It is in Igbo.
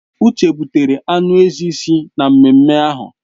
Uche butere anụ ezi si n'ememme ahụ